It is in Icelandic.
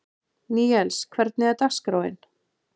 Níels, hvernig er dagskráin?